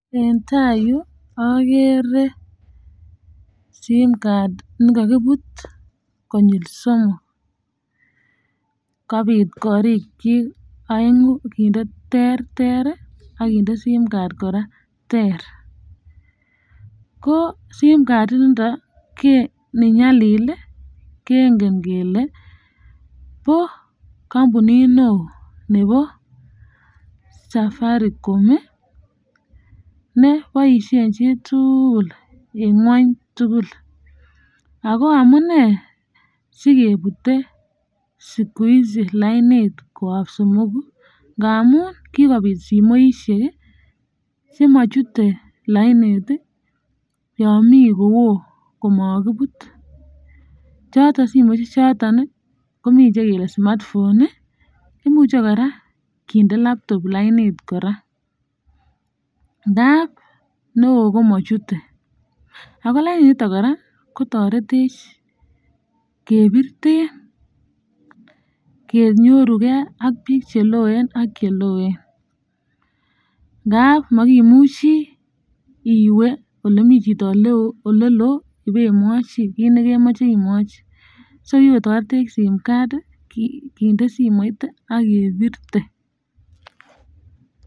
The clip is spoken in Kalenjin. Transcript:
En tai yu agere simcard nikakibut koyab kamaswek somoku kobit korik chik aengu kinde terter akinde simcard koraa ko simcard initon nenyalil kengen kele kampunit neon Nebo Safaricom NE baishet chitugul en kwony tugul ako amunee sikebute lainit koyab somogu ngamun kikobit simoishek chemachute lainit Yami Koon komakibut choton ko simoishek Komi chekele Cs smart phone cs imuche koraa kende laptop lainit koraa ndap neon ko komachute ako lainit niton koraa kotaretech en biret ab simoit ak kenyorugei AK bik chekoenngap makimuchi iwe olemi Chito neon olelo iwe imwochi kokikotaretech simoit ak simcard nekindoi simoit akebirte